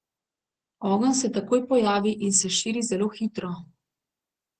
Ogenj se takoj pojavi in se širi zelo hitro.